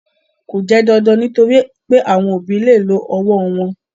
Kò jẹ́ dandan nítorí pé àwọn òbí lè lo ọwọ́ wọn.